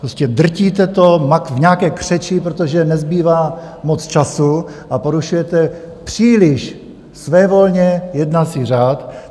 Prostě drtíte to v nějaké křeči, protože nezbývá moc času, a porušujete příliš svévolně jednací řád.